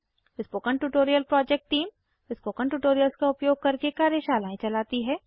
spoken tutorial project team • spoken tutorials का उपयोग करके कार्यशालाएं चलाती है